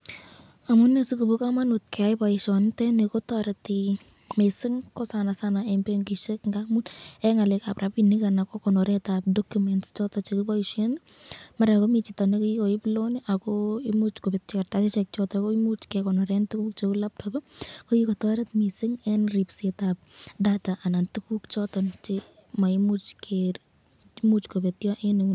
Amume sikobo kamanut keyai boisyoniteni, kotoreti mising, eng benkishek eng konoretab documents choton chekiboisyen, mara komiten chito noton nekikoib loan ako imuch kobetyo kartasishek, kebaishen tukuk cheu laptop kokikotoreb mising eng ripsetab data ak tukuk choton cheimuch kobetyo.